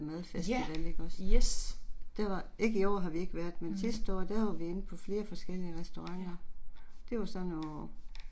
Ja! Yes. Mh. Ja